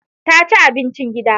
Ta ci abincin gida.